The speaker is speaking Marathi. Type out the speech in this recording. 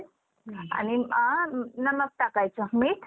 आणि आ नमक टाकायचं मीठ